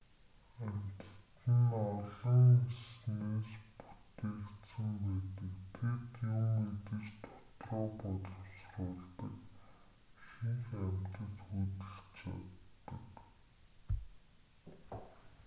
амьтад нь ололн эснээс бүтээгдсэн байдаг тэд юм идэж дотроо боловсруулдаг ихэнх амьтад хөдөлж чаддаг